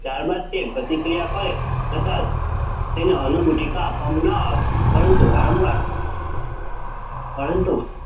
ત્યાર બાદ તે પ્રતિક્રિયા કરે છતાં તેને અન્નગુટિકા આપવામાં ન આવે. પરંતુ વારંવાર પરંતુ